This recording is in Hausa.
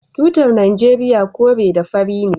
Tutar nigeria kore da fari ne